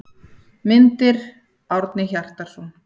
Myndir: Árni Hjartarson.